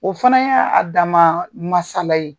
O fana y'a dama masala ye.